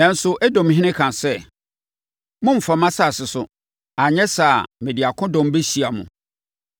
Nanso, Edomhene kaa sɛ, “Mommfa mʼasase so, anyɛ saa a mede akodɔm bɛhyia mo!”